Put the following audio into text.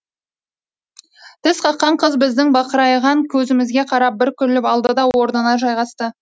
тісқаққан қыз біздің бақырайған көзімізге қарап бір күліп алды да орнына жайғасты